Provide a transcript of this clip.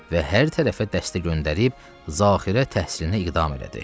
Və hər tərəfə dəstə göndərib zaxirə təhsilinə iqdam elədi.